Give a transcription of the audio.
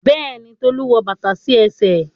Béèni Tolu wọ bàtà sí ẹsẹ̀.